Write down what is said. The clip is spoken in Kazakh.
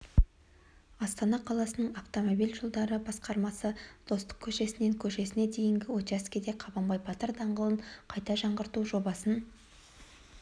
астана қаласының автомобиль жолдары басқармасы достық көшесінен көшесіне дейінгі учаскеде қабанбай батыр даңғылын қайта жаңғырту жобасын